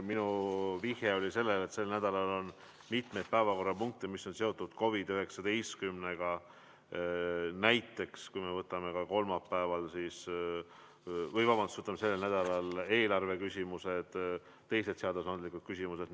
Minu vihje oli sellele, et sel nädalal on mitu päevakorrapunkti, mis on seotud COVID-19-ga, näiteks, kui me võtame sellel nädalal kavas olevad eelarveküsimused või teised seadusandlikud küsimused.